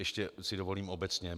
Ještě si dovolím obecně.